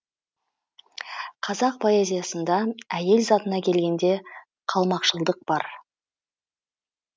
қазақ поэзиясында әйел затына келгенде қалмақшылдық бар